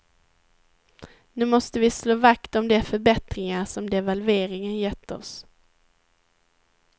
Nu måste vi slå vakt om de förbättringar som devalveringen gett oss.